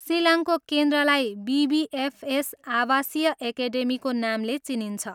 सिलङको केन्द्रलाई बिबिएफएस आवासीय एकेडेमीको नामले चिनिन्छ।